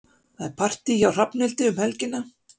Það er partí hjá Hrafnhildi um helgina.